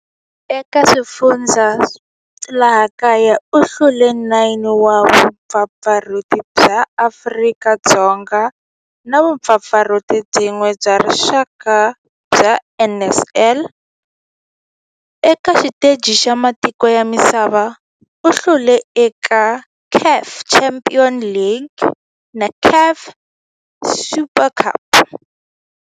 Eka laha kaya u hlule 9 wa vumpfampfarhuti bya Afrika-Dzonga na vumpfampfarhuti byin'we bya rixaka bya NSL. Eka xiteji xa matiko ya misava, u hlule eka CAF Champions League na CAF Super Cup.